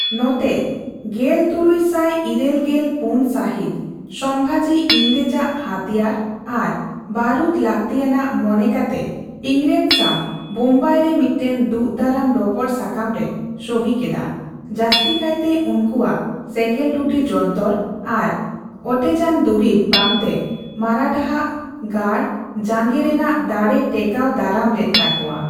ᱱᱚᱛᱮ, ᱜᱮᱞ ᱛᱩᱨᱩᱭ ᱥᱟᱭ ᱤᱨᱟᱹᱞ ᱜᱮᱞ ᱯᱩᱱ ᱥᱟᱦᱤᱛ , ᱥᱚᱢᱵᱷᱟᱡᱤ ᱤᱝᱨᱮᱡᱽ ᱟᱜ ᱦᱟᱹᱛᱤᱭᱟᱹᱨ ᱟᱨ ᱵᱟᱨᱩᱫᱽ ᱞᱟᱠᱛᱤᱭᱟᱱᱟᱜ ᱢᱚᱱᱮ ᱠᱟᱛᱮ ᱤᱝᱨᱮᱡᱽ ᱥᱟᱣ ᱵᱳᱢᱵᱟᱭᱨᱮ ᱢᱤᱫᱴᱟᱝ ᱫᱩᱜᱽᱼᱫᱟᱨᱟᱢ ᱨᱚᱯᱚᱲ ᱥᱟᱠᱟᱢ ᱨᱮ ᱥᱚᱦᱤ ᱠᱮᱫᱟ, ᱡᱟᱹᱥᱛᱤ ᱠᱟᱭᱛᱮ ᱩᱱᱠᱚᱣᱟᱜ ᱥᱮᱸᱜᱮᱞ ᱴᱩᱴᱤ ᱡᱚᱱᱛᱚᱨ ᱟᱨ ᱚᱴᱮᱡᱟᱱ ᱫᱩᱨᱤᱵᱽ ᱵᱟᱝᱛᱮ ᱢᱟᱨᱟᱴᱷᱟ ᱟᱜ ᱜᱟᱲ ᱡᱟᱸᱜᱮ ᱨᱮᱱᱟᱜ ᱫᱟᱲᱮ ᱴᱮᱠᱟᱣ ᱫᱟᱨᱟᱢ ᱞᱮᱫ ᱛᱟᱠᱚᱣᱟ ᱾